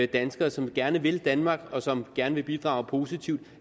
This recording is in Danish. danskere som gerne vil danmark og som gerne vil bidrage positivt